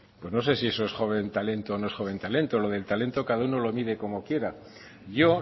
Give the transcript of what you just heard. pues no sé si es joven talento o no es joven talento lo del talento cada uno lo mire como quiera yo